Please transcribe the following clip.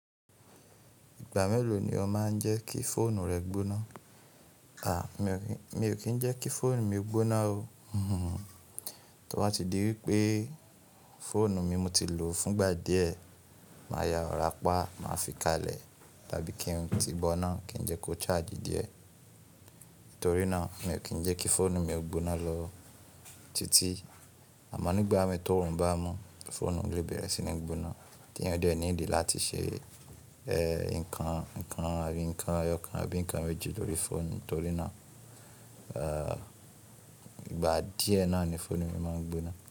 Ìgbà mélòó ni ó máa ń jẹ́ kí fóònù rẹ gbóná? À, mi ò kí ń jẹ́ kí fóònù mi gbóná o. To ba tí di wípé fóònù mi mo ti lò fúngbà díẹ̀, màá ya rọ̀rá pá, màá fi káalẹ̀, tá bí kí ń lo ti bo náà kí ń jẹ́ kó charge díẹ̀. Nítorínà mi ò kí ń jẹ́ kí fóònù mi gbóná ló títí. Àmọ́ nígbà mi t'òòrùn bá mú, fóònù lè bẹ̀rẹ̀ sí ní gbóná tí eeyan ò díẹ́ need láti ṣe, ẹ, nǹkan, nǹkan àábi, nǹkan eyọkán, àbí nǹkan méjì lórí fóònù. Torínà, ẹ, ìgbà díẹ̀ náà ni fóònù mi máa ń gbóná.